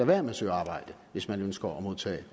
være med at søge arbejde hvis man ønsker at modtage